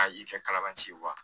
A i kɛ kalabanci ye